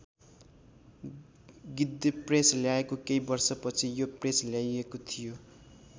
गिद्धेप्रेस ल्याएको केही वर्षपछि यो प्रेस ल्याइएको थियो।